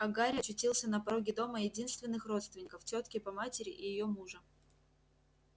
а гарри очутился на пороге дома единственных родственников тётки по матери и её мужа